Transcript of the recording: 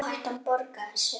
Áhættan borgaði sig.